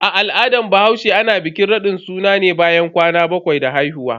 A al'adar bahaushe, ana bikin radin suna ne bayan kwana bakwai da haihuwa.